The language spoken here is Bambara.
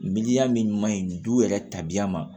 Miliya min maɲi du yɛrɛ tabiya ma